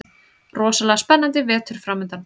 Rosalega spennandi vetur framundan